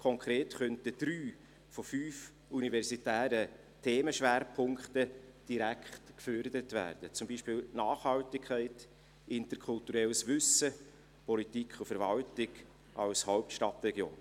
Konkret könnten drei von fünf universitären Themenschwerpunkten direkt gefördert werden, beispielsweise die Nachhaltigkeit, interkulturelles Wissen sowie Politik und Verwaltung als Hauptstadtregion.